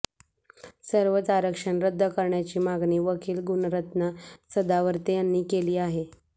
सर्वच आरक्षण रद्द करण्याची मागणी वकील गुणरत्न सदावर्ते यांनी केली आहे